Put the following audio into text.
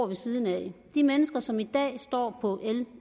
ved siden af de mennesker som i dag står på l